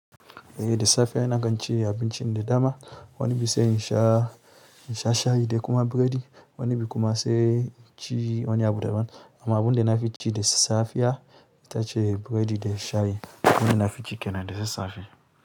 Ehh, da safiya ina ɗan ci abincin da dama. Wani bisa yin sha, sha shayi da kuma biredi. Wani bi kuma sai inci wani abu daban amma abun da na fi ci da safiya ita ce biredi da shayi. Wannan na fi ci kennan da sassafe.